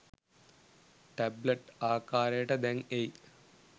tablet ආකාරයට දැන් එයි